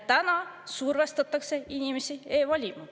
Täna survestatakse inimesi e-valima.